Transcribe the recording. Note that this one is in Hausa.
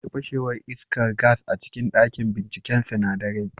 Akwai fashewar iskar gas a cikin dakin binciken sinadarai